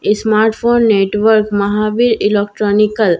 ई smartphone network Mahavir electronical लिखा हु --